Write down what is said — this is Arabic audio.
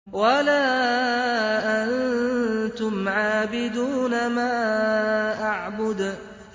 وَلَا أَنتُمْ عَابِدُونَ مَا أَعْبُدُ